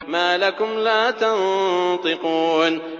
مَا لَكُمْ لَا تَنطِقُونَ